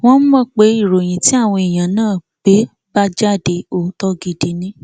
wọn mọ pé ìròyìn tí àwọn èèyàn náà gbé bá jáde òótọ gidi ni